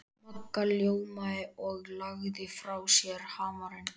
Magga ljómaði og lagði frá sér hamarinn.